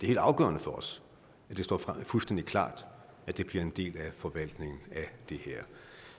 helt afgørende for os at det står fuldstændig klart at det bliver en del af forvaltningen af det her